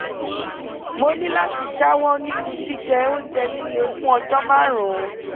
mo ní láti jáwọ́ nínú jíjẹ oúnjẹ líle fún ọjọ́ márùn-ún